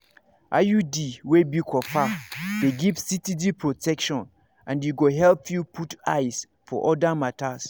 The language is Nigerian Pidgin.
iud wey be copper dey give steady protection and e go help you put eyes for other matters